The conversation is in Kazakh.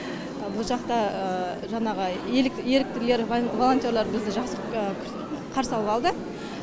бұл жақта жаңағы еріктілер волонтерлар бізді жақсы қарсы алывалды